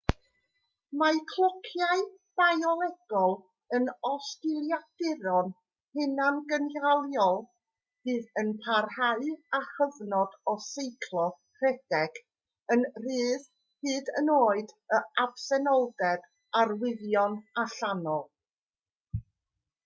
mae clociau biolegol yn osgiliaduron hunangynhaliol fydd yn parhau â chyfnod o seiclo rhedeg yn rhydd hyd yn oed yn absenoldeb arwyddion allanol